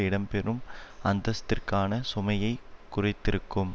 இடம் பெறும் அந்தஸ்திற்கான சுமையை குறைத்திருக்கும்